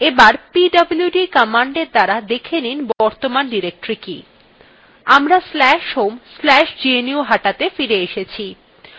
আবার pwd commandএর দ্বারা দেখে নিন বর্তমান directory কি আমরা/home/gnuhataত়ে ফিরে এসেছি